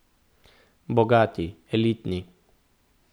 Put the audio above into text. Bogati, elitni.